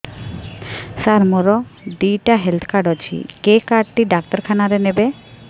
ସାର ମୋର ଦିଇଟା health card ଅଛି କେ କାର୍ଡ ଟି ଡାକ୍ତରଖାନା ରେ ନେବେ